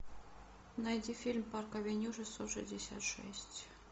найди фильм парк авеню шестьсот шестьдесят шесть